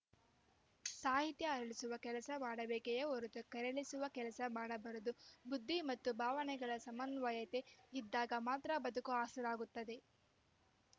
ಸಾಹಿತ್ಯ ಅರಳಿಸುವ ಕೆಲಸ ಮಾಡಬೇಕೆಯೇ ಹೊರತು ಕೆರಳಿಸುವ ಕೆಲಸ ಮಾಡಬಾರದು ಬುದ್ಧಿ ಮತ್ತು ಭಾವನೆಗಳ ಸಮನ್ವಯತೆ ಇದ್ದಾಗ ಮಾತ್ರ ಬದುಕು ಹಸನಾಗುತ್ತದೆ